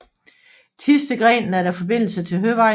Thistedgrenen er der forbindelse til Høvejen